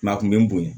a kun be n bonya